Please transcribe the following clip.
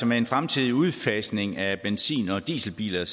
med en fremtidig udfasning af benzin og dieselbiler